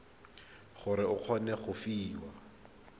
gore o kgone go fiwa